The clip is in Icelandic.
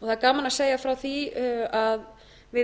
það er gaman að segja frá því að við